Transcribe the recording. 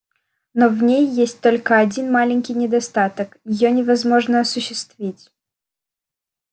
но в ней есть только один маленький недостаток её невозможно осуществить